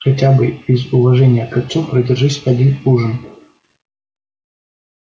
хотя бы из уважения к отцу продержись один ужин